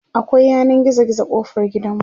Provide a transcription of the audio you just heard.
akwai yanan gizo gizo kofar gidanmu